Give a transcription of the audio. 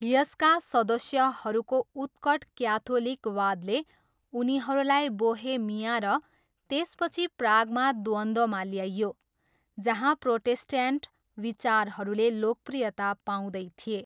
यसका सदस्यहरूको उत्कट क्याथोलिकवादले उनीहरूलाई बोहेमिया र त्यसपछि प्रागमा द्वन्द्वमा ल्यायो, जहाँ प्रोटेस्ट्यान्ट विचारहरूले लोकप्रियता पाउँदै थिए।